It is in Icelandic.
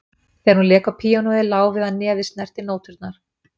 Þegar hún lék á píanóið lá við að nefið snerti nóturnar